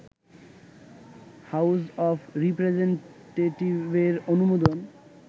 house of রিপ্রেজেনটেটিভের অনুমোদন